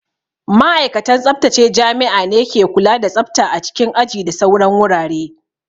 Ma'aikatan tsaftace jami'a ne ke kula da tsafta a cikin aji da sauran wurare